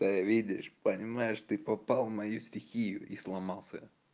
ээ видишь понимаешь ты попал в мою стихию и сломался